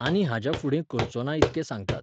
आनी हाज्या फुडें करचोना इतकें सांगतात.